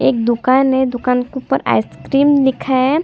एक दुकान है दुकान के ऊपर आइस क्रीम लिखा है।